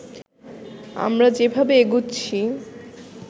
আমরা যেভাবে এগুচ্ছি